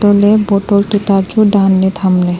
antoh ley bottle tuita chu danley tham ley.